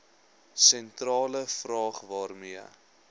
sentrale vraag waarmee